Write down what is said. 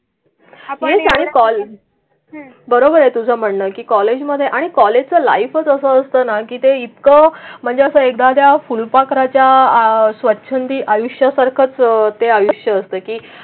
बरोबर आहे तुझं म्हणणं की कॉलेजमध्ये आणि कॉलेजचं लाईफ कसं असतं ना की ते इतकं म्हणजे असं एकदा त्या फुलपाखराच्या स्वच्छंदी आयुष्य सरकते आयुष्य असतं की.